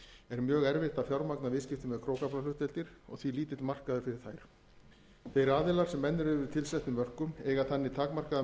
er mjög erfitt að fjármagna viðskipti með krókaflahlutdeildir og því lítill markaður fyrir þær þeir aðilar sem enn eru yfir tilsettum mörkum eiga þannig takmarkaða